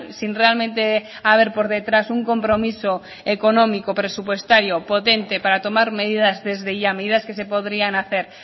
sin realmente haber por detrás un compromiso económico presupuestario potente para tomar medidas desde ya medidas que se podrían hacer